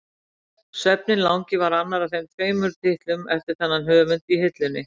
Svefninn langi var annar af tveimur titlum eftir þennan höfund í hillunni.